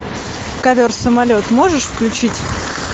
ковер самолет можешь включить